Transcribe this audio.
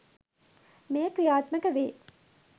මෙය ක්‍රියාත්මක වේ.